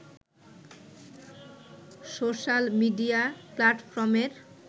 social media প্লাটফর্মের